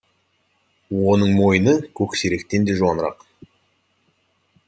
оның мойны көксеректен де жуанырақ